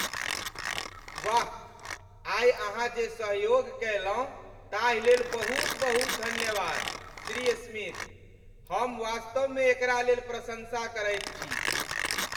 वाह, आइ अहाँ जे सहयोग कयलहुँ ताहिलेल बहुत बहुत धन्यवाद, श्री स्मिथ। हम वास्तवमे एकरा लेल प्रशंसा करैत छी।